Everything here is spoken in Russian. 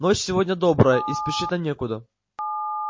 ночь сегодня добрая и спешить нам некуда